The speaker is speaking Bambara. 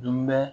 Dunbɛ